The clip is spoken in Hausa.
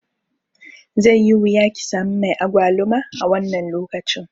Zai yi wuya kisami mai agwaluma a wannan lokaci.